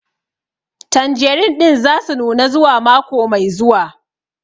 Tanjerin ɗin za su nuna zuwa mako mai zuwa